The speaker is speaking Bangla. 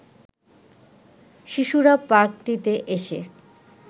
শিশুরা পার্কটিতে এসে